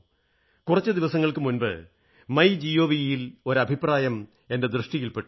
കുറച്ചു ദിവസങ്ങൾക്കു മുമ്പ് മൈ ജിഒവി യിൽ ഒരു അഭിപ്രായം എന്റെ ദൃഷ്ടിയിൽ പെട്ടു